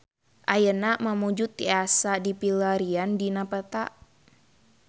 Ayeuna Mamuju tiasa dipilarian dina peta